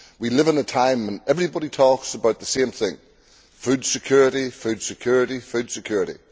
We live in a time when everybody talks about the same thing food security, food security, food security.